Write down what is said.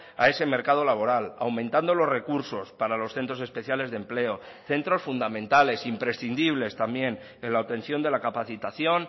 a ese mercado laboral aumentando los recursos para los centros especiales de empleo centros fundamentales imprescindibles también en la obtención de la capacitación